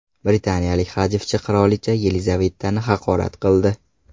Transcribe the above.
Britaniyalik hajvchi qirolicha Yelizavetani haqorat qildi.